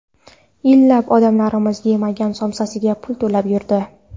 Yillab odamlarimiz yemagan somsasiga pul to‘lab yurdi.